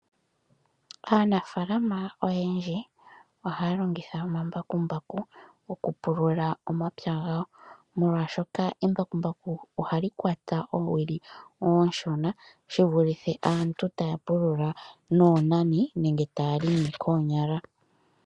Aanafaalama oyendji ohaya longitha omambakumbaku oku pulula omapya gawo , molwaashoka embakumbaku ohali kwata oowili oonshona shi vulithe aantu taya pulula noonani nenge taya helele koonyala .